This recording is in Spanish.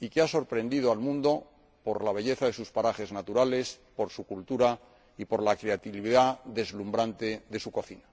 y ha sorprendido al mundo por la belleza de sus parajes naturales, por su cultura y por la creatividad deslumbrante de su cocina.